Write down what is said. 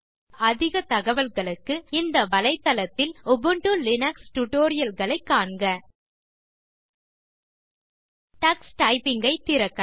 Ubuntu software center குறித்த அதிக தகவல்களுக்கு இந்த வலைத்தளத்தில் உபுண்டு லினக்ஸ் டியூட்டோரியல் களை காண்க டக்ஸ் டைப்பிங்